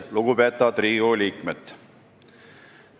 Lugupeetavad Riigikogu liikmed!